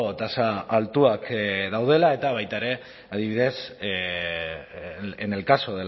tasa altuak daudela eta baita ere adibidez en el caso